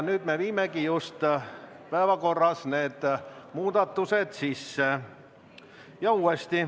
Nüüd me viimegi päevakorda need muudatused sisse.